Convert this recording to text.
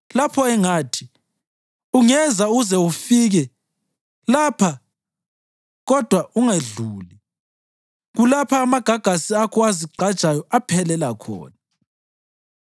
lapho engathi, ‘Ungeza uze ufike lapha kodwa ungedluli; kulapha amagagasi akho azigqajayo aphelela khona?’